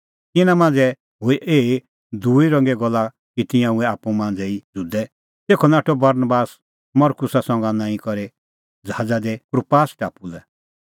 तिन्नां मांझ़ै हूई एही दूई रंगे गल्ला कि तिंयां हुऐ आप्पू ई मांझ़ै ज़ुदै तेखअ नाठअ बरनबास मरकुसा संघा निंईं करै ज़हाज़ा दी कुप्रास टापू लै